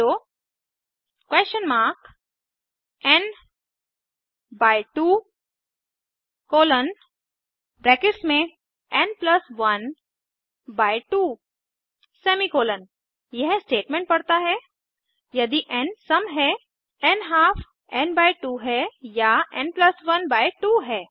N 2 n 1 2 semi colon यह statement पढ़ता है यदि एन सम है न्हाल्फ एन बाई 2 है या यह एन प्लस 1 बाई 2 है